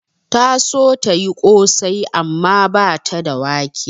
Ta so tayi ƙosai amma bata da wake